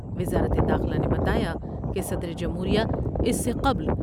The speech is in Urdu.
وزارت داخلہ نے بتایا کہ صدر جمہوریہ اس سے قبل